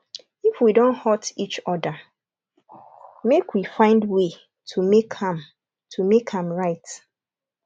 if we don hurt each other make we find way to make am to make am right